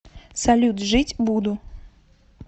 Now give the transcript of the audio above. салют жить буду